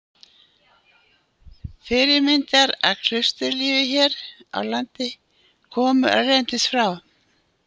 Fyrirmyndir að klausturlífi hér á landi komu erlendis frá.